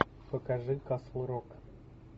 покажи касл рок